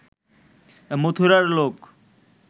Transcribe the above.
মথুরার লোক